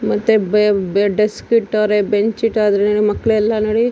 ಮತ್ತೆ ಬೆ ಬೆ ಡೆಸ್ಕ್ ಇಟ್ಟವ್ರೆ ಬೆಂಚ್ ಇಟ್ಟವ್ರೆ ಮಕ್ಳ್ ಎಲ್ಲ ನೋಡಿ. .